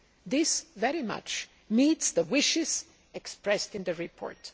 This very much meets the wishes expressed in the report.